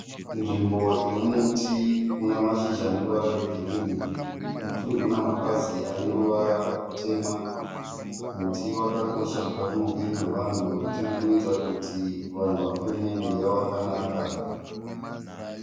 Nzvimbo ine muti une mashizha ane ruvara rwegirinhi. Muti uyu une mapazi ane ruvara rutema. Muti wakakosha mukati meupenyu hwevanhu nekuti unoita kuti unoita kuti vanhu vafeme mweya wakanaka.